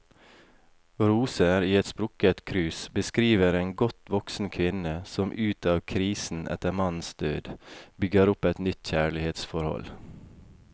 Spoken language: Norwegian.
Roser i et sprukket krus beskriver en godt voksen kvinne som ut av krisen etter mannens død, bygger opp et nytt kjærlighetsforhold.